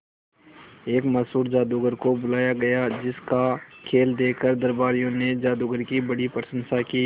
एक मशहूर जादूगर को बुलाया गया जिस का खेल देखकर दरबारियों ने जादूगर की बड़ी प्रशंसा की